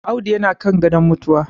Audu yana kan gadon mutuwa